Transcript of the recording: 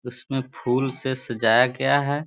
उसमें फूल से सजाया गया है।